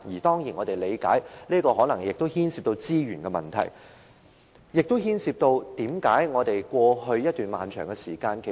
當然，我們理解，這可能牽涉資源問題，以致過去拖延了一段長時間。